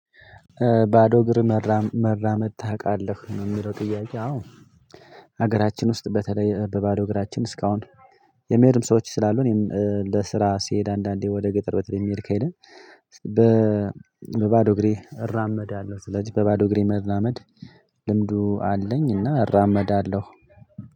ባዶ እግር መራመድ ታውቃለህ ነው የሚለው ጥያቄ? አዎ። ሀገራችን ውስጥ በተለይ በባዶ እግራችን እስካሁን የሚሄዱም ሰዎች ስላሉ እኔም ለስራ ሲሄድ አንዳንዴ ወደ ገጠር በተለይ የሚሄድ ከሄደ በባዶ እግሬ እራመዳለሁ። ስለዚህ በባዶ እግሬ መራመድ ልምዱ አለኝ። እና እራመዳለሁ።